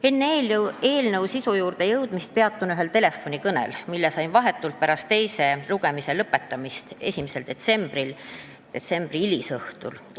Enne eelnõu sisu juurde jõudmist peatun ühel telefonikõnel, mille sain vahetult pärast teise lugemise lõpetamist 5. detsembri hilisõhtul.